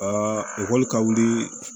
ekɔli ka wuli